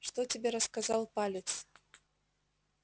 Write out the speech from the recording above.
что тебе рассказал палец